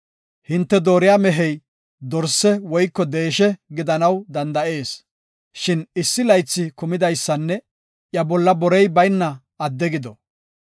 Hinte dooriya mehey dorse woyko deeshe gidanaw danda7ees, shin issi laythi kumidaysanne iya bolla borey bayna adde gido.